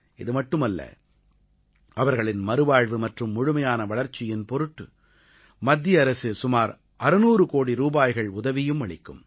இது மட்டுமல்ல அவர்களின் மறுவாழ்வு மற்றும் முழுமையான வளர்ச்சியின் பொருட்டு மத்திய அரசு சுமார் 600 கோடி ரூபாய்கள் உதவியும் அளிக்கும்